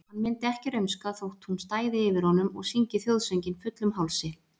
Hann myndi ekki rumska þótt hún stæði yfir honum og syngi þjóðsönginn fullum hálsi.